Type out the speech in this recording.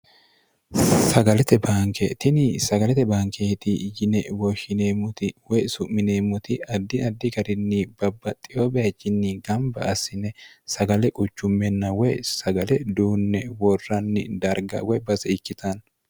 sagalete banke tini sagalete bankeeti yine wooshshineemmoti woy su'mineemmoti addi addi garinni babbaxxiyo baechinni gamba assine sagale quchummenna woy sagale duunne worranni darga woy base ikkitaanni